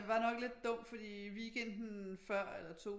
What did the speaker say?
Så den var nok lidt dum fordi weekenden før eller to